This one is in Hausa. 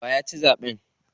Waye ya ci zaɓen?